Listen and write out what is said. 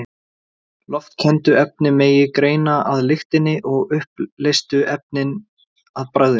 Loftkenndu efnin megi greina af lyktinni og uppleystu efnin af bragðinu.